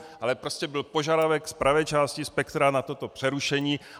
Ale prostě byl požadavek z pravé části spektra na toto přerušení.